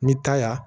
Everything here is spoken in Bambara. Ni taa ya